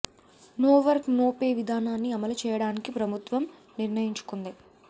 no work no pay విధానాన్ని అమలు చేయడానికి ప్రభుత్వం నిర్ణయించుకుంది